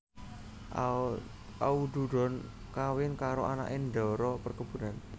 Aududon kawin karo anake ndara perkebunan